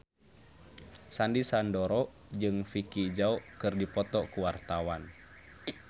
Sandy Sandoro jeung Vicki Zao keur dipoto ku wartawan